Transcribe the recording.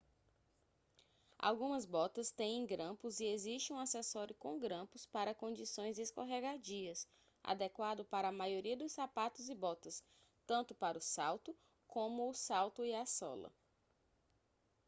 algumas botas têm grampos e existe um acessório com grampos para condições escorregadias adequado para a maioria dos sapatos e botas tanto para o salto como o salto e a sola